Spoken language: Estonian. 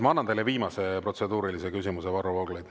Ma annan teile viimase protseduurilise küsimuse, Varro Vooglaid.